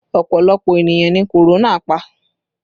Ọpọlọpọ ènìyàn ni korona pa